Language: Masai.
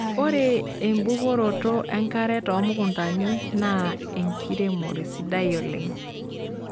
Ore embukoroto enkare too mukuntani naa enkiremore sidai oleng.